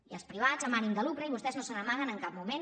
i als privats amb ànim de lucre i vostès no se n’amaguen en cap moment